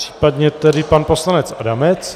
Případně tedy pan poslanec Adamec.